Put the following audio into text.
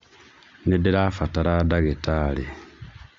Nĩndĩrabatara ndagĩtarĩ.